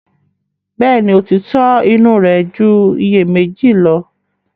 Bẹ́ẹ̀ni, òtítọ́ inú rẹ̀ ju iyèméjì lo.